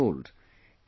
Lo and behold